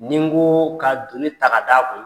Ni n ko ka donni ta ka d'a kun,